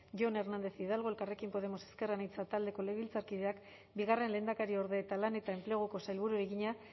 jon hernández hidalgo elkarrekin podemos ezker anitza taldeko legebiltzarkideak bigarren lehendakariorde eta lan eta enpleguko sailburuari egina